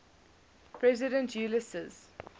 president ulysses s